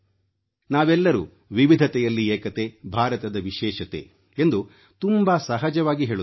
ನಾವೆಲ್ಲರೂ ವಿವಿಧತೆಯಲ್ಲಿ ಏಕತೆ ಭಾರತದ ವಿಶೇಷತೆ ಎಂದು ತುಂಬಾ ಸಹಜವಾಗಿ ಹೇಳುತ್ತೇವೆ